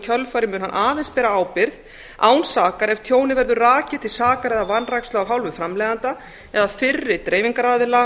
kjölfarið mun hann aðeins bera ábyrgð án sakar ef tjónið verður rakið til sakar eða vanrækslu af hálfu framleiðanda eða fyrri dreifingaraðila